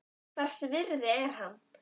Hvers virði er hann?